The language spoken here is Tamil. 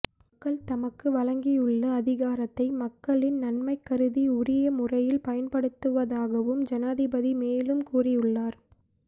மக்கள் தமக்கு வழங்கியுள்ள அதிகாரத்தை மக்களின் நன்மைகருதி உரிய முறையில் பயன்படுத்துவதாகவும் ஜனாதிபதி மேலும் கூறியுள்ளார்